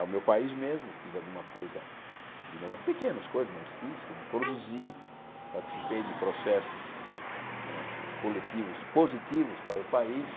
É o meu país mesmo, fiz alguma coisa, pequenas coisas, mas fiz, produzi, participei de processos eh coletivos positivos para o país.